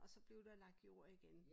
Og så blev der lagt jord igen